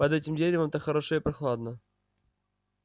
под этим деревом так хорошо и прохладно